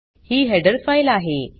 ही header file आहे